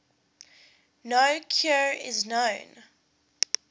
no cure is known